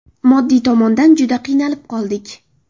Moddiy tomondan juda qiynalib qoldik.